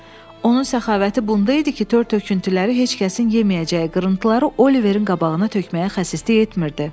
Onun səxavəti bunda idi ki, tör-töküntüləri, heç kəsin yeməyəcəyi qırıntıları Oliverin qabağına tökməyə xəsislik etmirdi.